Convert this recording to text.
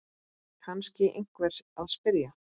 kann einhver að spyrja.